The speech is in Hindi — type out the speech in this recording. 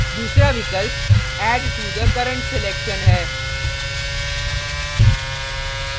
दूसरा विकल्प add to the current selection है